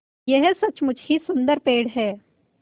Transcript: यह सचमुच ही सुन्दर पेड़ है